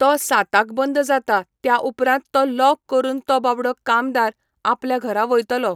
तो साताक बंद जाता त्या उपरांत तो लॉक करून तो बाबडो कामदार आपल्या घरा वयतलो.